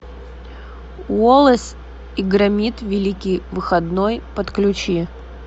уоллес и громит великий выходной подключи